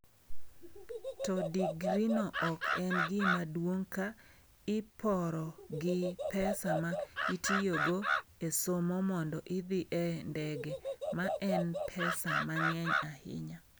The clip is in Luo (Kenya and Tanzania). To digrino ok en gima duong’ ka iporo gi pesa ma itiyogo e somo mondo idhi e ndege ma en pesa mang’eny ahinya.